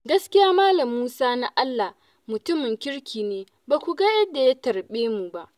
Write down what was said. Gaskiya Mal. Musa Na'allah mutumin kirki ne ba ku ga yadda ya tarbe mu ba.